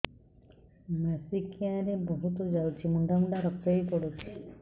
ମାସିକିଆ ରେ ବହୁତ ଯାଉଛି ମୁଣ୍ଡା ମୁଣ୍ଡା ରକ୍ତ ବି ପଡୁଛି